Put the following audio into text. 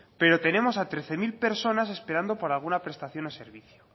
pero tenemos a trece mil personas esperando para alguna prestación o servicio